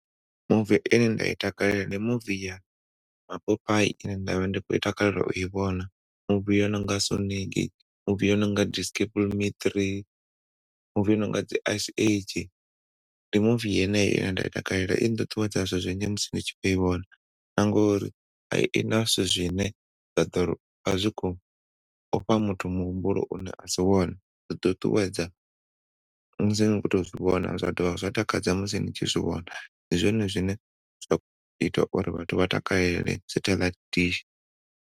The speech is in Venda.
Muvi ine nda i takalela ndi muvi ya mapopai ine ndavha ndi kho takalela u i vhona, muvi i no nga Sonic muvi i no nga Despicable Me 3, muvi i no nga dzi Ice Age ndi muvi yeneyo ine nda i takalela i nṱuṱuwedza zwezwi ndi tshi kho i vhona na ngori a i na zwithu zwine zwa ḓori a zwi kho fha muthu muhumbulo u ne a si wone zwi ṱuṱuwedza musi ni khoto zwivhona zwadovha zwa takadza musi ni tshi zwi vhona ndi zwone zwine zwa ita uri vhathu vha takalele satheḽaithi dishi.